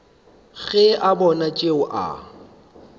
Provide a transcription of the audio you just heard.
ge a bona tšeo a